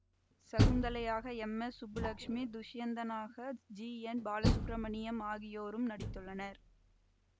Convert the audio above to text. சகுந்தலையாக M S Subbulakshmi துஷ்யந்தனாக G N Balasubramaniam ஆகியோரும் நடித்துள்ளனர்